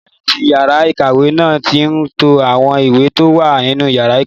Pírífẹ̀tì yàrá-ìkàwé náà n to àwọn ìwé tó wà nínú yàrá ìkàwé